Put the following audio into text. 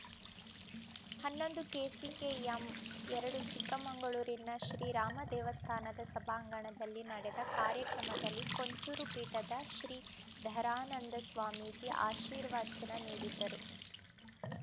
ಹನ್ನೊಂದು ಕೆಸಿಕೆಎಂ ಎರಡು ಚಿಕ್ಕಮಗಳೂರಿನ ಶ್ರೀರಾಮ ದೇವಸ್ಥಾನದ ಸಭಾಂಗಣದಲ್ಲಿ ನಡೆದ ಕಾರ್ಯಕ್ರಮದಲ್ಲಿ ಕೊಂಚೂರು ಪೀಠದ ಶ್ರೀಧರಾನಂದ ಸ್ವಾಮೀಜಿ ಆಶೀರ್ವಚನ ನೀಡಿದರು